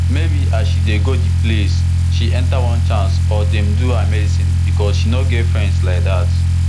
maybe as she dey go di place she enter onechance or dem do her medicine becos she no get friends like dat